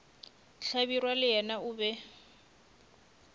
hlabirwa le yena o be